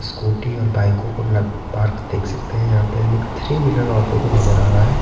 Scooty और बाइकों को ल पार्क देख सकते हैं यहां पे हमें एक थ्री व्हीलर ऑटो भी नजर आ रहा है।